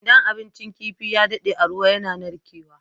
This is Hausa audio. Idan abincin kifi ya dade a ruwa yAna narke wa